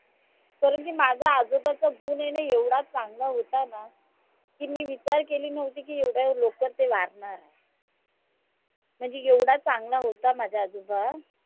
कारण की, माझ्या आजोबाचा गुन आय न एकदा चांगला होता ना की, मी विचार केली नव्हती की एवढ्या लवकर ते वारनार आय म्हणजे एवढा चांगला होता माझा आजोबा